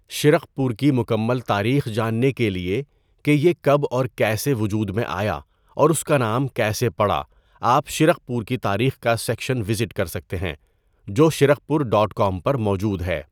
شرقپور کی مکمل تاریخ جاننے کے لیے کہ یہ کب اور کیسے وجود میں آیا اور اس کا نام کیسے پڑا آپ شرقپور کی تاریخ کا سیکشن وزٹ کر سکتے ہیں جو شرقپور ڈاٹ کام پر موجود ہے۔